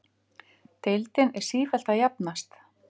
Deildin er sífellt að jafnast